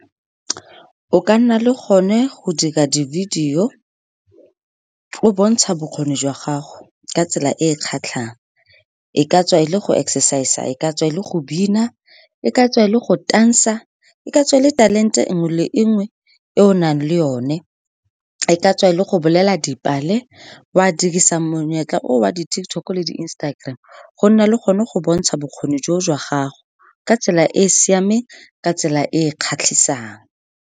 O ka nna le go ne go dira di-video, o o bontsha bokgoni jwa gago ka tsela e e kgatlhang. E ka tswa e le go exercise-a, ka tswa e le go bina, e ka tswa e le go tansa, e ka tswa e le talente engwe le engwe e o nang le yone. E ka tswa e le go bolela dipale. O a dirisang monyetla o wa di-TikTok-o le di-Instagram-e go nna le gone go bontsha bokgoni jo jwa gago ka tsela e e siameng, ka tsela e e kgatlhisang.